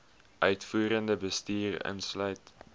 uitvoerende bestuur insluit